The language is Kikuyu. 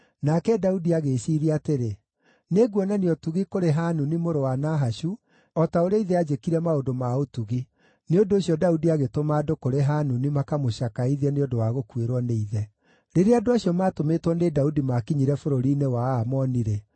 Nake Daudi agĩĩciiria atĩrĩ, “Nĩnguonania ũtugi kũrĩ Hanuni mũrũ wa Nahashu, o ta ũrĩa ithe aanjĩkire maũndũ ma ũtugi.” Nĩ ũndũ ũcio Daudi agĩtũma andũ kũrĩ Hanuni makamũcakaithie nĩ ũndũ wa gũkuĩrwo nĩ ithe. Rĩrĩa andũ acio maatũmĩtwo nĩ Daudi maakinyire bũrũri-inĩ wa Aamoni-rĩ,